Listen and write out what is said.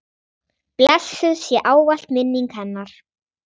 Blessuð sé ávallt minning hennar.